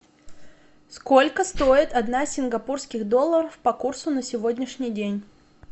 сколько стоит одна сингапурских долларов по курсу на сегодняшний день